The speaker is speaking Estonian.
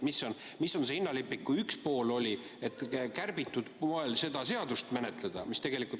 Milline oli ühe poole hinnalipik, et kärbitud moel seda seadus menetleda?